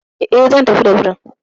E, zan tafi da birin.